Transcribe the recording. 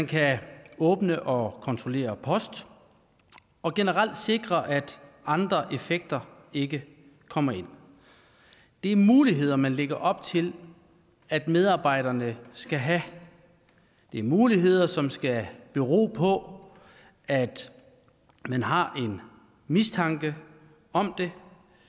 kan åbne og kontrollere post og generelt sikre at andre effekter ikke kommer ind det er muligheder man lægger op til at medarbejderne skal have det er muligheder som skal bero på at man har en mistanke om det